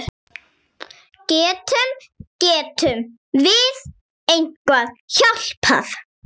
Getum, getum við eitthvað hjálpað?